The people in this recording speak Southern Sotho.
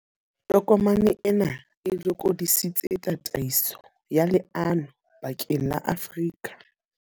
Tokomane ena e lokodisitse tataiso ya leano bakeng la Afrika.